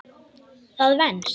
Það venst.